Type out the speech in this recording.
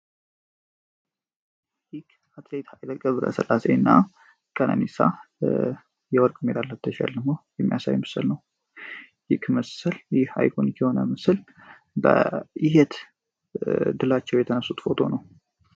ይክ አትሌይት ኃይለ ገብረ ስላሴ እና ቀነኒሳ የወርቅ የሜዳልያ ተሽልመው የሚያሳዊ ምስል ነው። ይህ ምስል ይህ ሃይኮን ሆነ ምስል በይህት ድላቸው የተነሱት ቆቶ ነው።